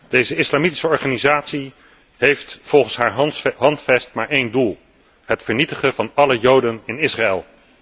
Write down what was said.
Deze islamitische organisatie heeft volgens haar handvest maar één doel het vernietigen van alle Joden in Israël.